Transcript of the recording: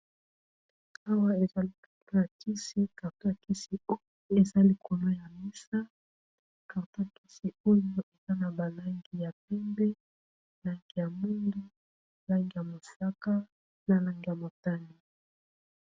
awa ezali kato ya kisi karto yakisi o ezali kolo ya misa karto yakisi oyo eza na balangi ya pembe langi ya moli langi ya mosaka nalang ya motani